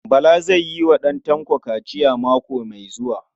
Bala zai yi wa ɗan Tanko kaciya mako mai zuwa.